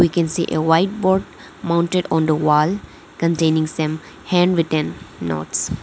we can see a white board mounted on the wall containing some handwritten notes.